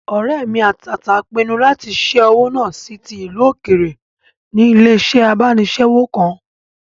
Ọ̀rẹ́ mi àtàtà n pinnu lati ṣẹ́ owó náà sí ti ìlú òkèèrè ní ilé-iṣẹ́ abánisẹ́wò kan